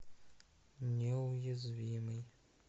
неуязвимый